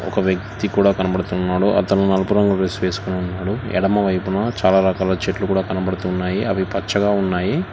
ఒక వ్యక్తి కూడా కనబడుతున్నాడు అతను నలుపు రంగు డ్రెస్ వేసుకొని ఉన్నాడు ఎడమవైపున చాలా రకాల చెట్లు కూడా కనపడుతున్నాయి అవి పచ్చగా ఉన్నాయి.